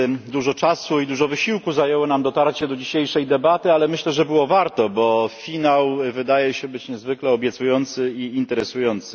Dużo czasu i dużo wysiłku zajęło nam dotarcie do dzisiejszej debaty, ale myślę, że było warto, bo finał wydaje się być niezwykle obiecujący i interesujący.